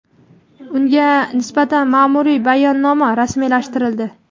unga nisbatan ma’muriy bayonnoma rasmiylashtirildi.